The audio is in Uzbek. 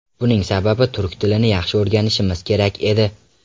Buning sababi turk tilini yaxshi o‘rganishimiz kerak edi.